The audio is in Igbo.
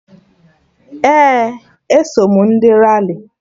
Ee, eso m ndị Rali